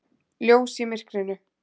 Ljós í myrkrinu.